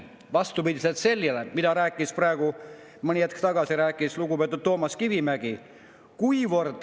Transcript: Seda vastupidiselt sellele, mida rääkis mõni hetk tagasi lugupeetud Toomas Kivimägi.